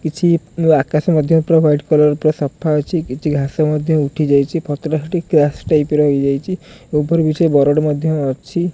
କିଛି ନୂଆ ଆକାଶ ମଧ୍ୟ ପୁରା ୱାଇଟ କଲର୍ ପୁରା ସଫା ଅଛି କିଛି ଘାସ ମଧ୍ୟ ଉଠିଯାଇଚି ପତ୍ର ଟା ସେଠି କ୍ରାସ ଟାଇପ୍ ର ହେଇଯାଇଚି ଓଭର ବ୍ରିଜ ରେ ବାରୋଡ ମଧ୍ୟ ଅଛି।